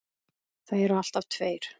Það eru alltaf tveir